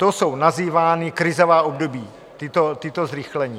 Ta jsou nazývána krizová období, tato zrychlení.